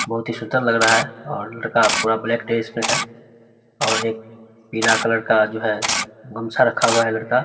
बोहोत ही सुंदर लग रहा है और लड़का पूरा ब्लैक ड्रेस में है और एक पीला कलर का जो है गमछा रखा हुआ है लड़का।